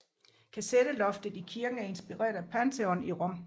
Kasetteloftet i kirken er inspireret af Pantheon i Rom